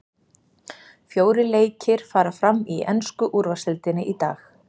Fjórir leikir fara fram í ensku úrvaldsdeildinni í dag.